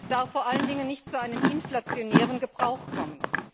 Es darf vor allen Dingen nicht zu einem inflationären Gebrauch kommen.